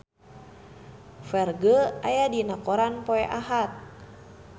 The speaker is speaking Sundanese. Ferdge aya dina koran poe Ahad